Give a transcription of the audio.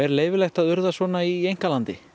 leyfilegt að urða svona í einkalandi